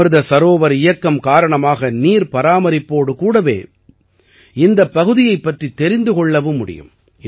அமிர்த சரோவர் இயக்கம் காரணமாக நீர்பராமரிப்போடு கூடவே இந்தப் பகுதியைப் பற்றித் தெரிந்து கொள்ளவும் முடியும்